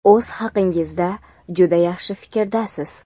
o‘z haqingizda juda yaxshi fikrdasiz.